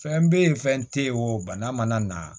Fɛn bɛ ye fɛn tɛ ye o bana mana na